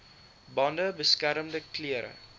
bande beskermende klere